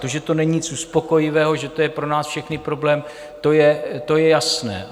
To, že to není nic uspokojivého, že to je pro nás všechny problém, to je jasné.